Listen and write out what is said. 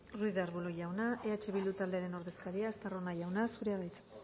ruiz de arbulo jauna eh bildu taldearen ordezkaria estarrona jauna zurea da hitza